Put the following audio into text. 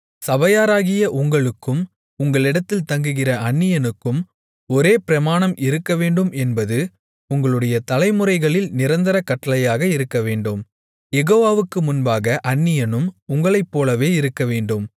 சபையாராகிய உங்களுக்கும் உங்களிடத்தில் தங்குகிற அந்நியனுக்கும் ஒரே பிரமாணம் இருக்கவேண்டும் என்பது உங்களுடைய தலைமுறைகளில் நிரந்தர கட்டளையாக இருக்கவேண்டும் யெகோவாவுக்கு முன்பாக அந்நியனும் உங்களைப்போலவே இருக்கவேண்டும்